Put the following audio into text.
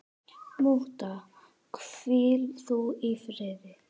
Mútta, hvíl þú í friði.